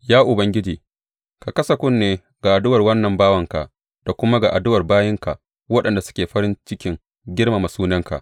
Ya Ubangiji, ka kasa kunne ga addu’ar wannan bawanka da kuma ga addu’ar bayinka waɗanda suke farin cikin girmama sunanka.